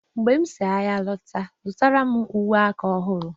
mgbe m si ahịa lọta zụtara m uwe aka ọhụrụ